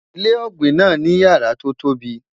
ilé ògbìn nà ní yàrá to tóbi